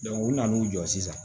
u nana o jɔ sisan